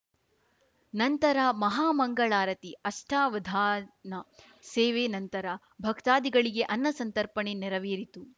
ನಂತರ ಮಹಾ ಮಂಗಳಾರತಿ ಅಷ್ಠಾವಧಾನ ಸೇವೆ ನಂತರ ಭಕ್ತಾದಿಗಳಿಗೆ ಅನ್ನಸಂತರ್ಪಣೆ ನೆರವೇರಿತು